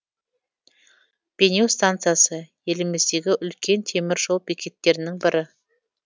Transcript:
бейнеу станциясы еліміздегі үлкен темір жол бекеттерінің бірі